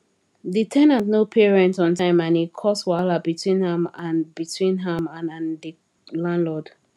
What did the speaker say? the ten ant no pay rent on time and e cause wahala between am and between am and the landlord